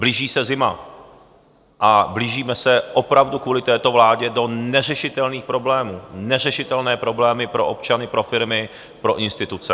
Blíží se zima a blížíme se opravdu kvůli této vládě do neřešitelných problémů - neřešitelné problémy pro občany, pro firmy, pro instituce.